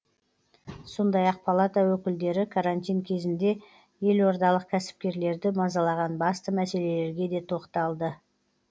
сондай ақ палата өкілдері карантин кезінде елордалық кәсіпкерлерді мазалаған басты мәселелерге де тоқталды